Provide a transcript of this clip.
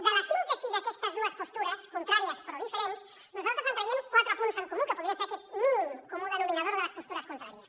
de la síntesi d’aquestes dues postures contràries però diferents nosaltres en traiem quatre punts en comú que podrien ser aquest mínim comú denominador de les postures contràries